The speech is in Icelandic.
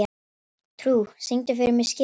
Trú, syngdu fyrir mig „Skyttan“.